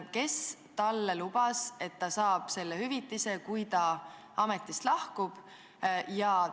Kes talle lubas, et ta saab selle hüvitise, kui ta ametist lahkub?